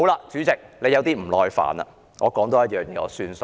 主席，你有點不耐煩了，我多提一點便作罷。